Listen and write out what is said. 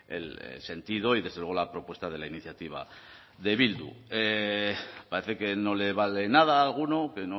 el sentido y desde luego la propuesta de la iniciativa de bildu parece que no le vale nada a alguno que